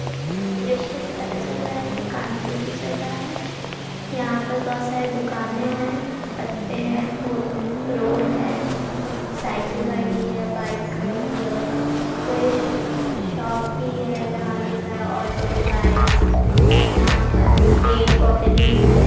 ये दृश्य से पता चल रहा है कि कानपुर की जगह है यहाँ पास बहुत सारे दुकाने हैं पत्ते हैं अम रोड है साईकल खड़ी है बाइक खड़ी है कोई शो शॉप भी है जहाँ लिखा है ऑटोमोबाइल्स यहाँ पास पेड़ -पौधे भी हैं।